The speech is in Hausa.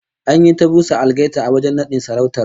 An yi ta busa algaita a wajen nadin sarautar